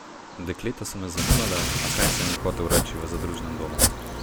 Dekleta so me zanimala, a kaj sem jim hotel reči v zadružnem domu?